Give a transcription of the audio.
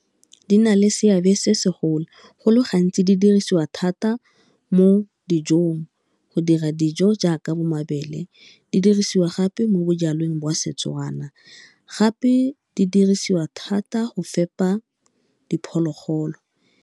Di na le seabe se segolo, go le gantsi di dirisiwa thata mo dijong, go dira dijo jaaka bo mabele di dirisiwa gape mo bojalweng jwa Setswana, gape di dirisiwa thata go fepa diphologolo.